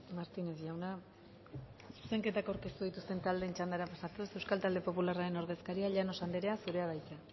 martínez jauna zuzenketak aurkeztu dituzten taldeen txandara pasatuz euskal talde popularraren ordezkaria llanos anderea zurea da hitza